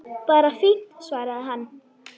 Bara fínt- svaraði hann.